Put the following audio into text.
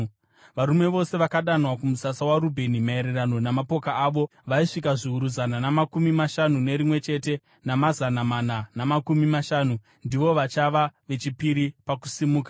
Varume vose vakadanwa kumusasa waRubheni maererano namapoka avo, vaisvika zviuru zana namakumi mashanu nerimwe chete, namazana mana namakumi mashanu. Ndivo vachava vechipiri pakusimuka.